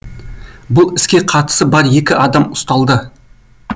бұл іске қатысы бар екі адам ұсталды